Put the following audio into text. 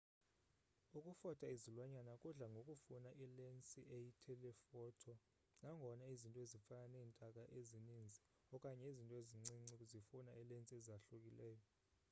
ukufota izilwanyana kudla ngokufuna ilensi eyi-telephoto nangona izinto ezifana neentaka ezininzi okanye izinto ezincinci zifuna iilensi ezahlukileyo